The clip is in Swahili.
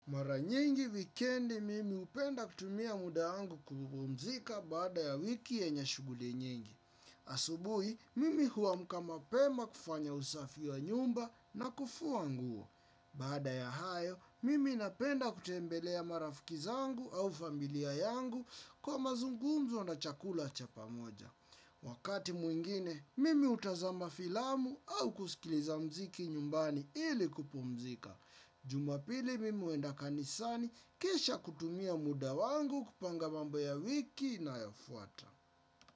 Mara nyingi wikendi mimi hupenda kutumia muda wangu kupumzika baada ya wiki yenye shughuli nyingi. Asubuhi, mimi huamka mapema kufanya usafi wa nyumba na kufua nguo. Baada ya hayo, mimi napenda kutembelea marafiki zangu au familia yangu kwa mazungumzo na chakula cha pamoja. Wakati mwingine, mimi hutazama filamu au kusikiliza muziki nyumbani ili kupumzika. Jumapili mimi huenda kanisani kisha kutumia muda wangu kupanga mambo ya wiki inayofuata.